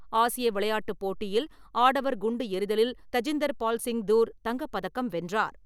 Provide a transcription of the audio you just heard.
ஆசிய விளையாட்டுப் போட்டியில் ஆடவர் குண்டு எறிதலில் தஜிந்தர் பால் சிங் தூர் தங்கப்பதக்கம் வென்றார்.